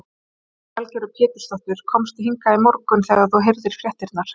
Lillý Valgerður Pétursdóttir: Komstu hingað í morgun þegar þú heyrðir fréttirnar?